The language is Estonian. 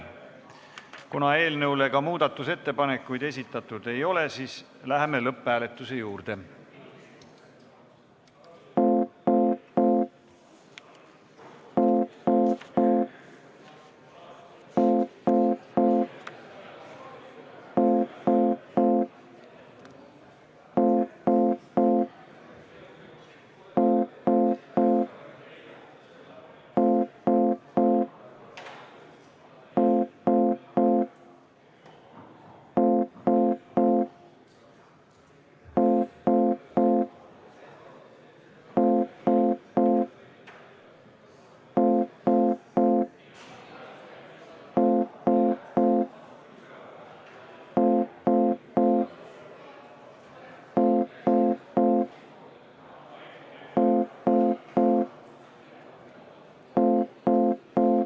Kuna eelnõu kohta ka muudatusettepanekuid esitatud ei ole, siis läheme lõpphääletuse juurde.